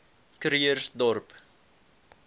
krugersdorp